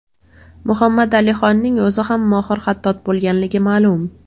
Muhammad Alixonning o‘zi ham mohir xattot bo‘lganligi ma’lum.